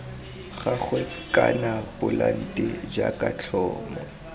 gagwe kana polante jaaka tlhomo